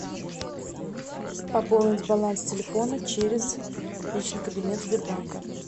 пополнить баланс телефона через личный кабинет сбербанка